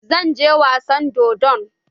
Zan je wasan dodon.